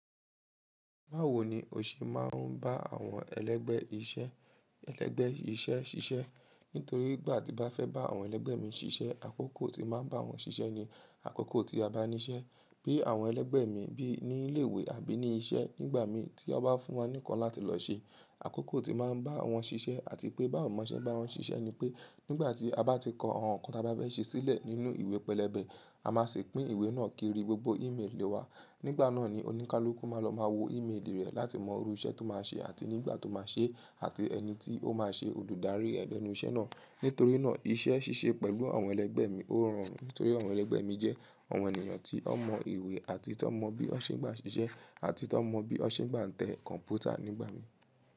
Báwo ni o ṣe máa ń bá àwọn ẹlẹgbẹ iṣẹ́, ẹlẹgbẹ iṣẹ́ ṣiṣẹ́? Nítorí ìgbà tí ń bá fẹ́ bá àwọn ẹlẹgbẹ́ mi ṣiṣẹ́, àkókò tí máa ń bá wọn ṣiṣẹ́ ni àkókò tí a bá níṣẹ́. Bí àwọn ẹlẹgbẹ́ mi, bí ní ilé ìwé àbí ní iṣẹ́ nígbà mi tí wọ́n bá fún wa nì ǹkan láti lọ ṣe, àkókò tí máa ń bá wọn ṣiṣẹ́ àti pé bá wo mo ṣe bá wọn ṣiṣẹ́ ni pé nígbà tí a bá ti kọ àwọn nǹkan tí a bá fẹ́ ṣe sílẹ̀ nínú ìwé pẹlẹbẹ, a máa ṣì pín ìwé náà kiri gbogbo email wa. Nígbà náà ni oníkálukú máa lọ máa wo email rẹ̀ láti mọ irú iṣẹ́ tó máa ṣe àti nígbà tó máa ṣe àti ẹni tí ó máa ṣe olùdarí ẹ̀ lẹ́nu iṣẹ́ náà. Nítorí náà iṣẹ́ ṣíṣe pẹ̀lú àwọn ẹlẹgbẹ́ mi ó rọrùn torí àwọn ẹlẹgbẹ́ mi jẹ́ àwọn ènìyàn tí wọ́n mọ ìwé àti tí wọ́n mọ bí wọ́n ṣe ń gbà ṣiṣẹ́ àti tí wọ́n mọ bí wọ́n ṣe ń gbà tẹ kọ̀ǹpútà nígbà mi.